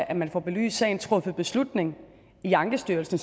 at man får belyst sagen truffet beslutning i ankestyrelsen